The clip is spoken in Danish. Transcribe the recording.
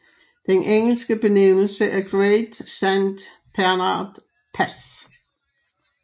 Den engelske benævnelse er Great Saint Bernard Pass